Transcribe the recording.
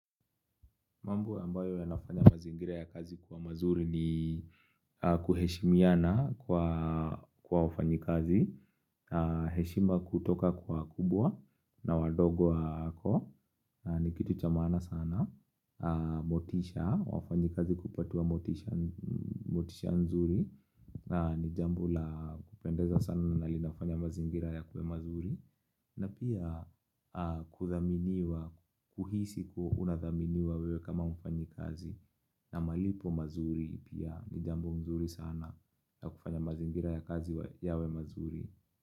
Mambo ambayo yanafanya mazingira ya kazi kwa mazuri ni kuheshimiana kwa wafanyikazi. Heshima kutoka kwa wakubwa na wadogo wako ni kitu cha maana sana. Motisha, wafanyikazi kupatiwa motisha nzuri. Ni jambo la kupendeza sana na linafanya mazingira yakuwe mazuri. Na pia kuthaminiwa, kuhisi kuwa unathaminiwa wewe kama mfanyikazi na malipo mazuri pia ni jambo mzuri sana na kufanya mazingira ya kazi yawe mazuri.